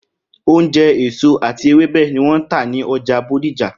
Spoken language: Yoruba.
Oúnje̩, èso àti ewébè̩ ni wó̩n ̃́ tà ní o̩jà Bódìjà